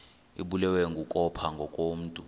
ibulewe kukopha ngokomntu